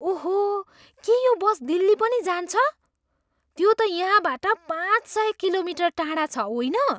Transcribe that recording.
ओहो! के यो बस दिल्ली पनि जान्छ? त्यो त यहाँबाट पाँच सय किलोमिटर टाढा छ, होइन?